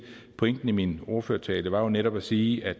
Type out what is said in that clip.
pointen i min ordførertale var jo netop at sige at